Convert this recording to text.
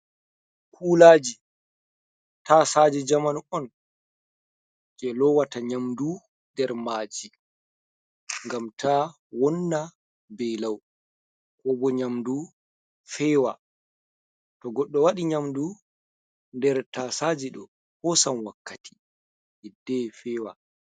Kulaji tasaaje jamanu on jei lowata nyamdu nder maji ngam ta wonna bei lau, ko bo nyamdu fewa, to goɗɗo waɗi nyamdu nder tasaaje ɗo hosan wakkati hidde fewa.